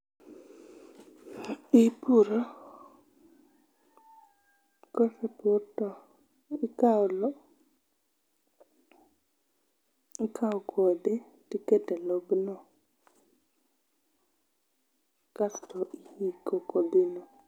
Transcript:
Ipuro, kosepur to ikao loo, ikao kodhi tikete lobno. kasto iiko kodhino .